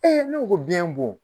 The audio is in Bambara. ne ko ko biyɛn bon.